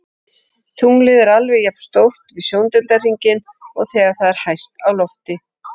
Tunglið er alveg jafn stórt við sjóndeildarhringinn og þegar það er hæst á lofti.